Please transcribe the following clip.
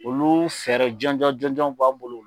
Olu fɛɛrɛ jɔnjɔn jɔnjɔn b'an bolo.